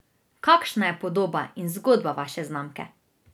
Kakšna je podoba in zgodba vaše znamke?